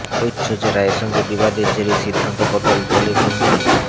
ঐশ্বর্য রাইয়ের সঙ্গে বিবাদের জেরেই সিদ্ধান্ত বদল বলে গুঞ্জন